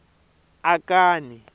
akani